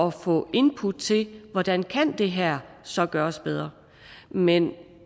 at få input til hvordan det her så kan gøres bedre men